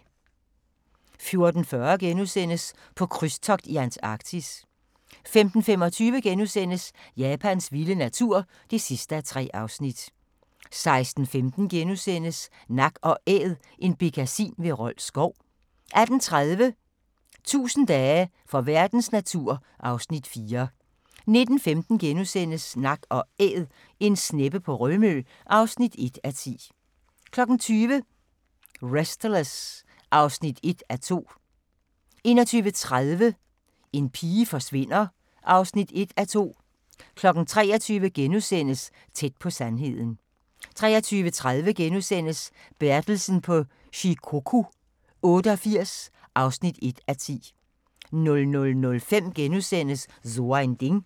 14:40: På krydstogt i Antarktis * 15:25: Japans vilde natur (3:3)* 16:15: Nak & Æd – en bekkasin ved Rold Skov * 18:30: 1000 dage for verdens natur (Afs. 4) 19:15: Nak & Æd – en sneppe på Rømø (1:10)* 20:00: Restless (1:2) 21:30: En pige forsvinder (1:2) 23:00: Tæt på sandheden * 23:30: Bertelsen på Shikoku 88 (1:10)* 00:05: So ein Ding *